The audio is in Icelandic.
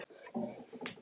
Bjössi fór í skólann en